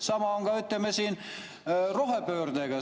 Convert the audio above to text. Sama on rohepöördega.